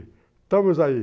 Estamos aí.